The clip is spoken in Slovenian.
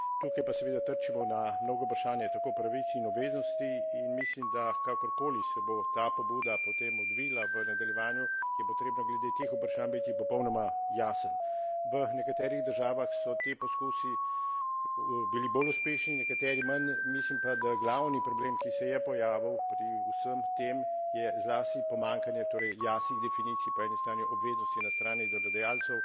Tukaj pa seveda trčimo na mnoga vprašanja, tako pravic in obveznosti, in mislim, da kakorkoli se bo ta pobuda potem odvila v nadaljevanju, je potrebno glede teh vprašanj biti popolnoma jasen. V nekaterih državah so ti poskusi bili bolj uspešni, v nekaterih manj, mislim pa, da glavni problem, ki se je pojavil pri vsem tem, je zlasti pomanjkanje jasnih definicij, po eni strani, obveznosti na strani delodajalcev